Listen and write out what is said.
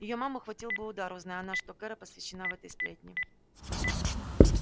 её маму хватил бы удар узнай она что кэро посвящена в этой сплетни